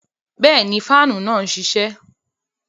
Bẹẹni, faanu náà nṣiṣẹ